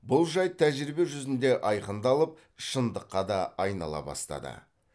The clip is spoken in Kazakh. бұл жайт тәжірибе жүзінде айқындалып шындыққа да айнала бастады